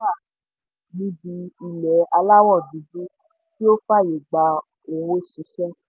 àwọn ìlànà wà níbi ilé aláwọ̀ dúdú tí ó fàyè gba òwò ṣíṣe.